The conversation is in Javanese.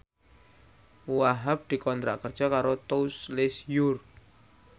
Wahhab dikontrak kerja karo Tous Les Jour